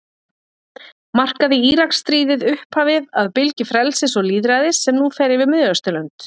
Markaði Íraksstríðið upphafið að bylgju frelsis og lýðræðis sem nú fer yfir Miðausturlönd?